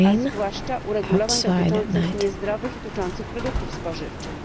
a zwłaszcza przyjęcie uregulowań dotyczących niezdrowych i powodujących nadwagę produktów spożywczych.